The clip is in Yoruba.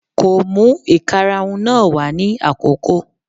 Kò mú ìkarahun náà wá ní àkókò